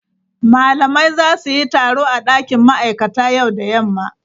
Malamai za su yi taro a dakin ma'aikata yau da yamma.